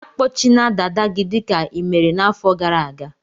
Akpọchina dada gị dịka i mere n'afọ gara aga!